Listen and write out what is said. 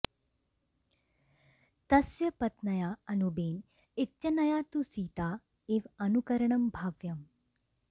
तस्य पत्न्या अनुबेन इत्यनया तु सीता इव अनुकरणं भाव्यम्